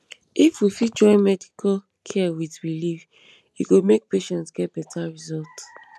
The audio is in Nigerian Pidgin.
if we fit join medical care with belief e go make patients get better result